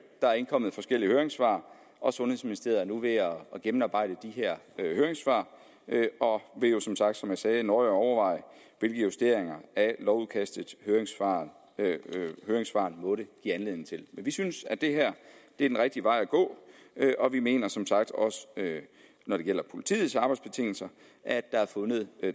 der er indkommet forskellige høringssvar og sundhedsministeriet er nu ved at gennemarbejde de her høringssvar og vil jo som sagt som jeg sagde nøje overveje hvilke justeringer af lovudkastet høringssvarene måtte give anledning til men vi synes at det her er den rigtige vej at gå og vi mener som sagt også når det gælder politiets arbejdsbetingelser at der er fundet